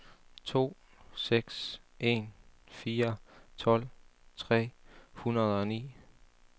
to seks en fire tolv tre hundrede og ni